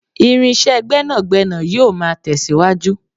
irinṣẹ́ gbénàgbénà yíò ma tẹsiwaju